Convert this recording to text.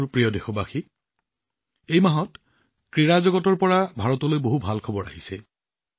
মোৰ প্ৰিয় দেশবাসী এই মাহত ভাৰতৰ বাবে ক্ৰীড়া জগতৰ পৰা বহুত ভাল খবৰ আহিছে